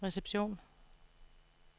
reception